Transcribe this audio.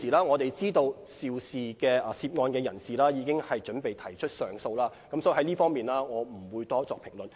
我們知道現時涉案人士已經準備提出上訴，所以就這方面，我不會多作評論。